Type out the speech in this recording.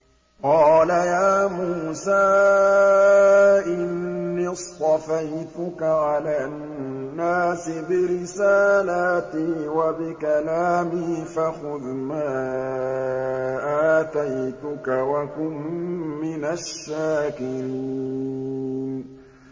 قَالَ يَا مُوسَىٰ إِنِّي اصْطَفَيْتُكَ عَلَى النَّاسِ بِرِسَالَاتِي وَبِكَلَامِي فَخُذْ مَا آتَيْتُكَ وَكُن مِّنَ الشَّاكِرِينَ